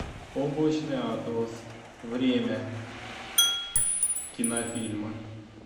облачный атлас время кинофильма